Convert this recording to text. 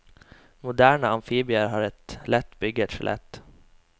Moderne amfibier har et lett bygget skjelett.